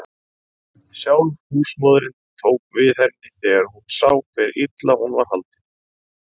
Sjálf húsmóðirin tók við henni þegar hún sá hve illa hún var haldin.